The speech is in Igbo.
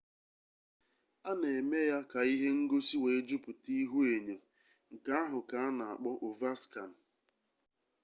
a na eme ya ka ihe ngosi wee juputa ihuenyo nke ahụ ka a na-akpọ ovaskan